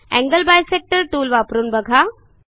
angle bisector tool वापरून बघा